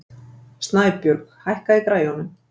Snæbjörg, hækkaðu í græjunum.